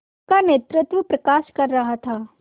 उनका नेतृत्व प्रकाश कर रहा था